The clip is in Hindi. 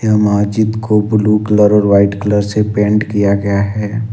यहां मस्जिद को ब्लू कलर और वाइट कलर से पेंट किया गया है।